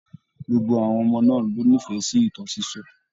Gbogbo àwọn ọmọ náà ló n'ifẹ sí ìtàn sisọ.